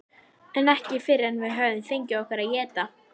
Jörðin tók enn að nötra og dynkirnir færðust í aukana.